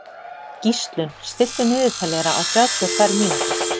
Gíslunn, stilltu niðurteljara á þrjátíu og tvær mínútur.